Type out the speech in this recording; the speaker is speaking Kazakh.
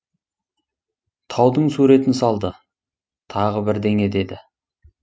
таудың суретін салды тағы бірдеңе деді